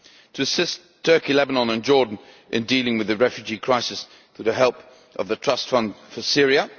to assist Turkey, Lebanon and Jordan in dealing with the refugee crisis through the help of the Trust Fund for Syria